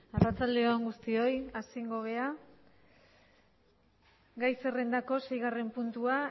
arratsalde on gai zerrendaren seigarren puntua